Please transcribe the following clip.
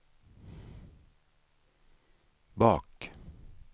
bak